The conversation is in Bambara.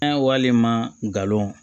An wale malon